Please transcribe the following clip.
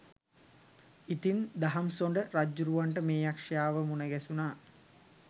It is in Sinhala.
ඉතින් දහම්සොඬ රජ්ජුරුවන්ට මේ යක්ෂයාව මුණගැසුණා